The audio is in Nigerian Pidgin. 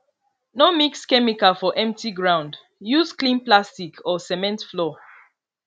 no mix chemical for empty ground use clean plastic or cement floor